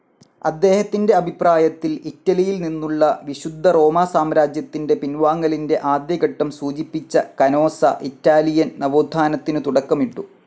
അദ്ദേഹത്തിന്റെ അഭിപ്രായത്തിൽ ഇറ്റലിയിൽ നിന്നുള്ള വിശുദ്ധറോമാസാമ്രാജ്യത്തിന്റെ പിൻവാങ്ങലിന്റെ ആദ്യഘട്ടം സൂചിപ്പിച്ച കനോസ, ഇറ്റാലിയൻ നവോത്ഥാനത്തിനു തുടക്കമിട്ടു.